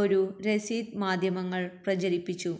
ഒരു രസീത് മാധ്യമങ്ങൾ പ്രചരിപ്പിച്ചു